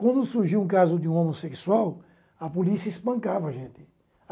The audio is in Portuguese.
Quando surgia um caso de um homossexual, a polícia espancava a gente.